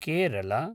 Kerala